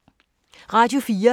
Radio 4